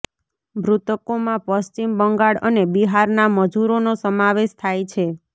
મૃતકોમાં પશ્ચિમ બંગાળ અને બિહારના મજૂરોનો સમાવેશ થાય છે